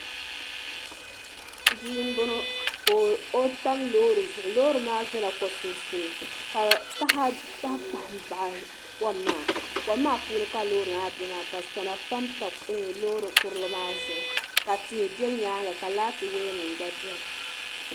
bia n bɔŋɔ ka o tam loori zuɣu loori maa biɛla ko sunsuuni ka taha kpahi kpahi baɣa kom maa kom maa puuni ka loori maa bɛ maa ka sona panpa loori kurili maa zuɣu ka tihi bɛ nyaanga ka laati woya nim gba biɛni